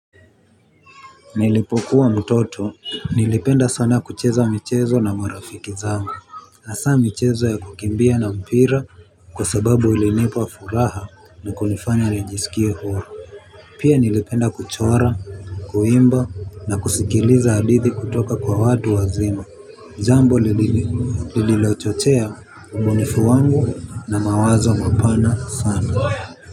Nilipokuwa mtoto, nilipenda sana kucheza michezo na marafiki zangu. Hasa michezo ya kukimbia na mpira kwa sababu ilinipa furaha na kunifanya nijisikie huru. Pia nilipenda kuchora, kuimba na kusikiliza hadithi kutoka kwa watu wazima. Jambo lililochochea ubunifu wangu na mawazo mapana sana.